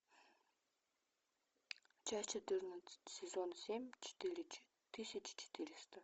часть четырнадцать сезон семь четыре тысячи четыреста